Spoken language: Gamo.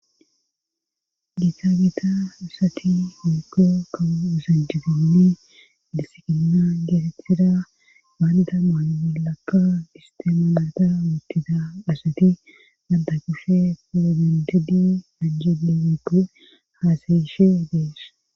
Giita giita asati miko kawu usanjibinni disikinna geetetida baanda maani bollakka istemalata wuttida dhasati danta kushe firogendedi majjedi weppe haasayishe dees